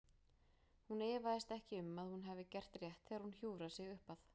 Hún efast ekki um að hún hafi gert rétt þegar hún hjúfrar sig upp að